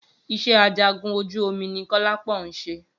Iṣẹ́ ajagun ojú omi ni Kọ́lápọ̀ ń ṣe